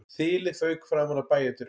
Þilið fauk framan af bæjardyrunum